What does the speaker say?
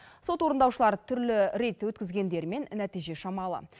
сот орындаушылар түрлі рейд өткізгендерімен нәтиже шамалы